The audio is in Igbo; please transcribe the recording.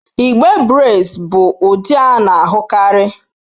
Igbe braids bụ ụdị a na-ahụkarị.